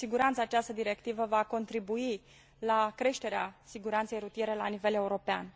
Cu siguranță, această directivă va contribui la creșterea siguranței rutiere la nivel european.